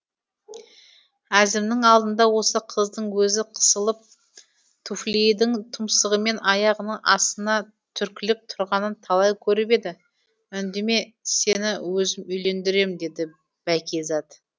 әзімнің алдында осы қыздың өзі қысылып туфлидің тұмсығымен аяғының астына түркілеп тұрғанын талай көріп еді үндеме сені өзім үйлендірем деді бәкизат